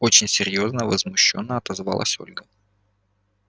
очень серьёзно возмущённо отозвалась ольга